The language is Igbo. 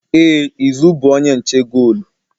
Ee izu bụ onye nche goolu